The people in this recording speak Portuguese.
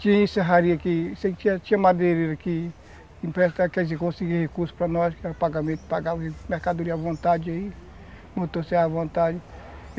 Tinha aqui, tinha madeireira aqui, empresta, quer dizer, conseguir recurso para nós, que era pagamento, mercadoria à vontade aí, motosserra à vontade.